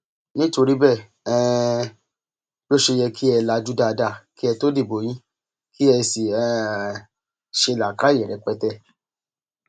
nítorí bẹẹ um ló ṣe yẹ kí ẹ lajú dáadáa kí ẹ tóó dìbò yín kí ẹ sì um ṣe làákàyè rẹpẹtẹ